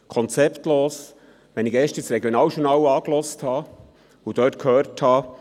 Konzeptlos, nachdem ich mir gestern das «Regionaljournal» angehört und dabei gehört habe: